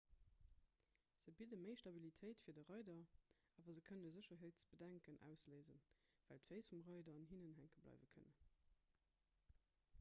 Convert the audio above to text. se bidde méi stabilitéit fir de reider awer se kënne sécherheetsbedenken ausléisen well d'féiss vum reider an hinnen hänke bleiwe kënnen